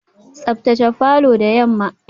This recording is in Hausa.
Tsaftace falor da yamma.